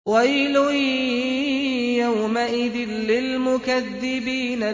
وَيْلٌ يَوْمَئِذٍ لِّلْمُكَذِّبِينَ